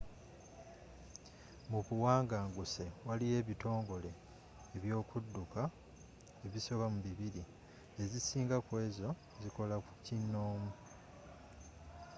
mubuwanganguse waliyo ebitongole ebyokudduka ebisoba mu 200 ezisinga kuezo zikola kinoomu